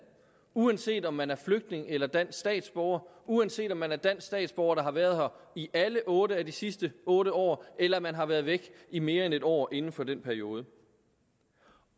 uanset om man er flygtning eller dansk statsborger og uanset om man er dansk statsborger der har været her i alle otte af de sidste otte år eller man har været væk i mere end en år inden for den periode